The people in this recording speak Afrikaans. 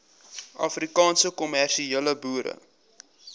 afrikaanse kommersiële boere